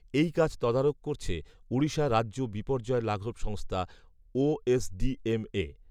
এই কাজ তদারক করছে ওড়িশা রাজ্য বিপর্যয় লাঘব সংস্থা ওএসডিএমএ